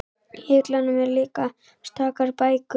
Í hillunum eru líka stakar bækur.